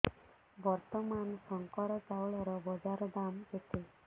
ବର୍ତ୍ତମାନ ଶଙ୍କର ଚାଉଳର ବଜାର ଦାମ୍ କେତେ